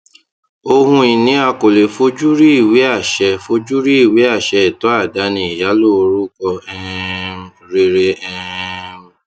ohunini a kò lè fojúrí iweaṣẹ fojúrí iweaṣẹ ẹtọ àdání ìyálò orúkọ um rere um